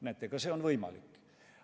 Näete, ka see on võimalik.